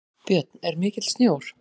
Björn: Er mikill sjór?